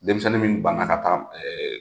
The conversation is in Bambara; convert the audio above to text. Denmisɛnnin minnu ban na ka taa